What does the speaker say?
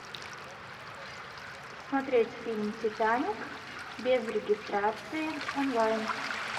смотреть фильм титаник без регистрации онлайн